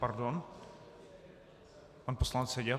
Pardon, pan poslanec Seďa.